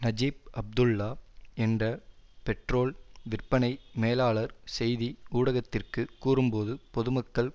Najib Abdullah என்ற petrol விற்பனை மேலாளர் செய்தி ஊடகத்திற்கு கூறும்போது பொதுமக்கள்